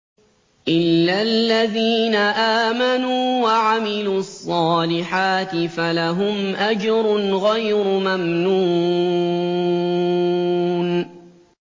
إِلَّا الَّذِينَ آمَنُوا وَعَمِلُوا الصَّالِحَاتِ فَلَهُمْ أَجْرٌ غَيْرُ مَمْنُونٍ